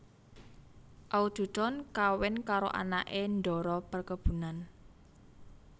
Aududon kawin karo anake ndara perkebunan